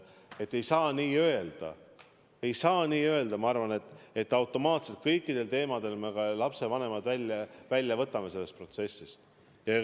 Et ei saa minu arvates öelda, et me automaatselt kõikidel juhtudel võtame lapsevanemad sellest protsessist välja.